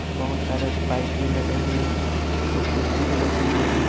बहुत सारे बाइक भी लगे हुए एक कुर्सी भी लगी हुई है।